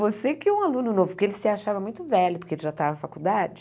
Você que é um aluno novo, porque ele se achava muito velho, porque ele já estava na faculdade.